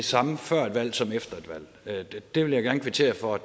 samme før et valg som efter et valg det vil jeg gerne kvittere for at